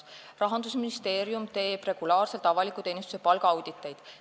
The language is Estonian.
Rahandusministeerium teeb regulaarselt avaliku teenistuse palgaauditeid.